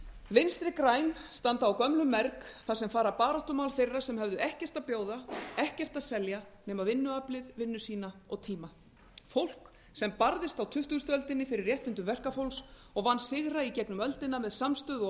vinstri græn standa á gömlum merg þar sem fara baráttumál þeirra sem höfðu ekkert að bjóða ekkert að selja nema vinnuaflið vinnu sína og tíma fólk sem barðist á tuttugustu öldinni fyrir réttindum verkafólks og vann sigra í gegnum öldina með samstöðu og